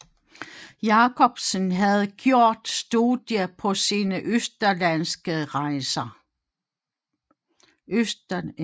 Jacobsen havde gjort studier på sine østerlandske rejser